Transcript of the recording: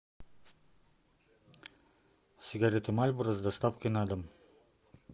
сигареты мальборо с доставкой на дом